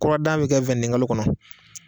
Kuradan bɛ kɛ kalo kɔnɔ.